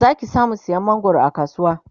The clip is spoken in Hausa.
Zaki samu sayan mangwaron a kasuwa